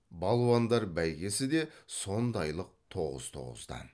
балуандар бәйгесі де сондайлық тоғыз тоғыздан